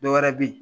Dɔwɛrɛ be yen